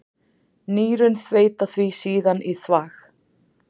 Nýrun þveita því síðan í þvag.